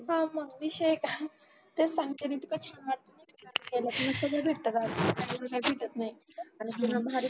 पहा मग विषय आहे का तेच सांगते मी तुला इतकं छान सगळच भेटता गावी आणि काही भेटत नाही आणि